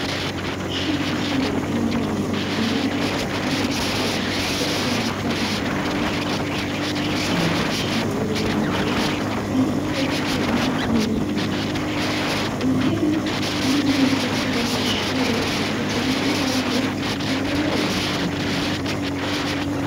Ishure ryisumbuye, ry'i Mabayi, riragutse, kandi ryubakishije amatafari ahiye; rifise amadirisha manini manini, ariko utwuma, n'ibiyo; intebe n'imeza, vy'abanyeshure, bikoze mu rubaho, rukomeye cane.